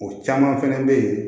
O caman fɛnɛ bɛ ye